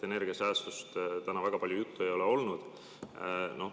Energiasäästust täna väga palju juttu ei ole olnud.